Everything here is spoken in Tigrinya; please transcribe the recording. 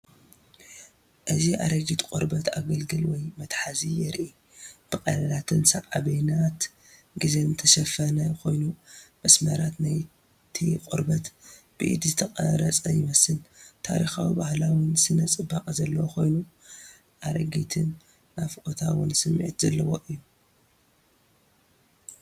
እዚ ኣረጊት ቆርበት ኣገልግል ወይ መትሓዚ የርኢ። ብቐዳዳትን ሳዕቤናት ግዜን ዝተሸፈነ ኮይኑ፡ መስመራት ናይቲ ቆርበት ብኢድ ዝተቐርጸ ይመስል። ታሪኻውን ባህላውን ስነ-ጽባቐ ዘለዎ ኮይኑ፡ ኣረጊትን ናፍቖታውን ስምዒት ዘርኢ እዩ።